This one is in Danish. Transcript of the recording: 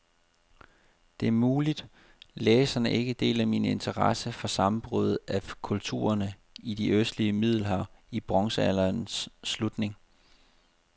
Det er muligt, læseren ikke deler min interesse for sammenbruddet af kulturerne i det østlige middelhav i bronzealderens slutning.